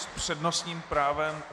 S přednostním právem...